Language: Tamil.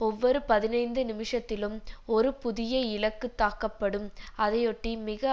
ஒவ்வொரு பதினைந்து நிமிஷத்திலும் ஒரு புதிய இலக்கு தாக்கப்படும் அதையொட்டி மிக